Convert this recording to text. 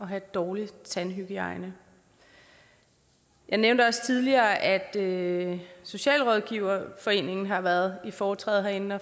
have dårlig tandhygiejne jeg nævnte også tidligere at at socialrådgiverforeningen har været i foretræde herinde